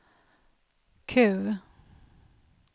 Q